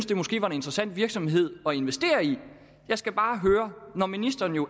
det måske var en interessant virksomhed at investere i jeg skal bare høre når ministeren